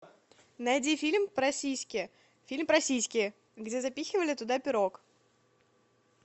найди фильм про сиськи фильм про сиськи где запихивали туда пирог